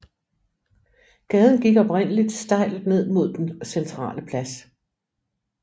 Gaden gik oprindeligt stejl ned mod den centrale plads